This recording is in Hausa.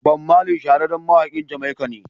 Bob Marley shahararren mawakin Jamaica ne.